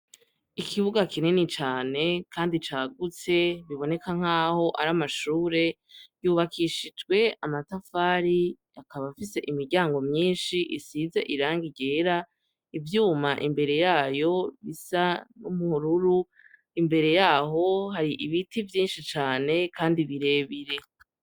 Ikibuga kinini cane Kandi cagutse, biboneka nkaho ari amashure, yubakishijwe amatafari akaba afise imiryango myinshi isize irangi ryera, ivyuma imbere yayo isa n'ubururu, imbere yaho hari ibiti vyinshi cane kandi birebire.